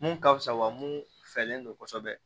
Mun ka fusa wa mun fɛlen don kosɛbɛ